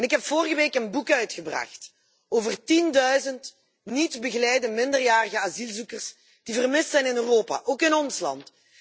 Ik heb vorige week een boek uitgegeven over tienduizend niet begeleide minderjarige asielzoekers die vermist worden in Europa, ook in ons land.